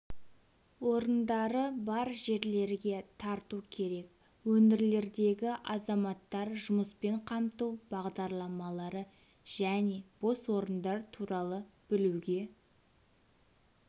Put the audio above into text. орындары бар жерлерге тарту керек өңірлердегі азаматтар жұмыспен қамту бағдарламалары және бос орындар туралы білуге